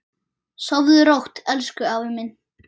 Sofðu rótt elsku afi minn.